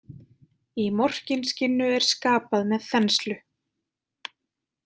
Í Morkinskinnu er skapað með þenslu.